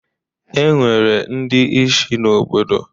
E nwere ndi ishi n'obodo.